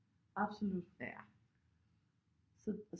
Absolut så